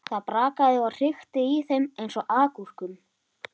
Það brakaði og hrikti í þeim eins og agúrkum.